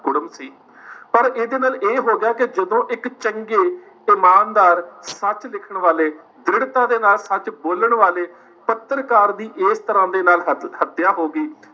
ਕੁੜਮ ਸੀ ਪਰ ਇਹਦੇ ਨਾਲ ਇਹ ਹੋ ਗਿਆ ਕਿ ਜਦੋਂ ਇੱਕ ਚੰਗੇ ਇਮਾਨਦਾਰ ਸੱਚ ਲਿਖਣ ਵਾਲੇ ਦ੍ਰਿੜਤਾ ਦੇ ਨਾਲ ਸੱਚ ਬੋਲਣ ਵਾਲੇ ਪੱਤਰਕਾਰ ਦੀ ਇਸ ਤਰ੍ਹਾਂ ਦੇ ਨਾਲ ਹਤ ਹੱਤਿਆ ਹੋ ਗਈ,